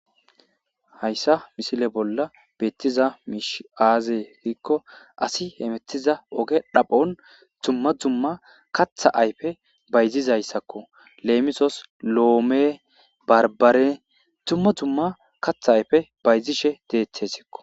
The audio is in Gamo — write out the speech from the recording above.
Hayssa misile bolla beettiza miish aazee giikko asi hemettiza oge dhaphon dumma dzumma katha ayfe bayzizayssakko leemisos loome barbare tumma dzumma katha ayfe bayzishe deetessikko